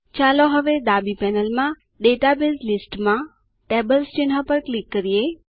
ચાલો હવે ડાબી પેનલમાં ડેટાબેઝ લિસ્ટ માં ટેબલ્સ ચિહ્ન પર ક્લિક કરો